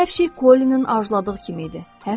Hər şey Kolinin arzuladığı kimi idi.